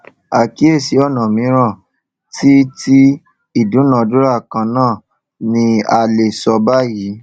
àkíyèsí ọnà mìíràn tí tí ìdúnàádúrà kan náà ni a lè sọ bayìí